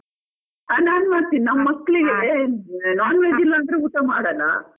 ಹಾ ನಾನ್ ಮಾಡ್ತೀನಿ ನಮ್ ಮಕ್ಳಿಗೆ non veg ಇಲ್ಲಾಂದ್ರೆ ಊಟ ಮಾಡಲ್ಲ.